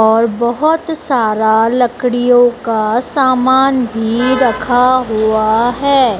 और बहोत सारा लड़कियों का सामान भी रखा हुआ है।